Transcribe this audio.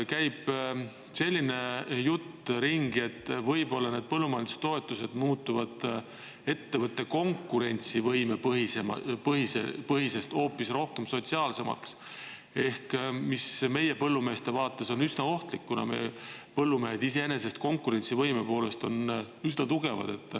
Selline jutt käib ringi, et võib-olla need ettevõtte konkurentsivõime põhised põllumajandustoetused muutuvad hoopis rohkem sotsiaalsemaks, mis on meie põllumeeste vaates üsna ohtlik, kuna nad on konkurentsivõime poolest iseenesest üsna tugevad.